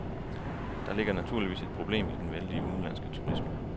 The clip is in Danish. Der ligger naturligvis et problem i den vældige udenlandske turisme.